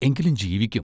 എങ്കിലും ജീവിക്കും.